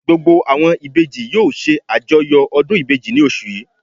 Gbogbo àwọn Ìbejì yóò se àjọyọ̀ ọdún Ìbejì ní osù yìí